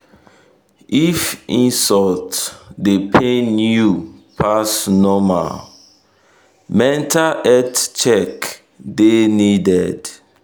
if insult dey pain you pass normal mental health check mental health check dey needed.